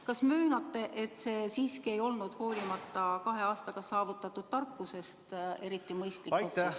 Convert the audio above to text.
Kas möönate, et see siiski ei olnud hoolimata teie kahe aastaga saavutatud tarkusest eriti mõistlik otsus?